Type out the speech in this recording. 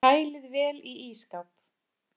Kælið vel í ísskáp.